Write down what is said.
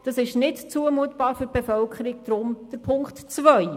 Das ist für die Bevölkerung nicht zumutbar, deshalb Punkt 2.